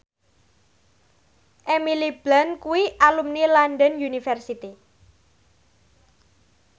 Emily Blunt kuwi alumni London University